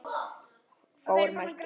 Fáir mættu.